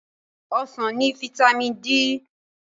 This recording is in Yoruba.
Ọsàn ní fataímìn D.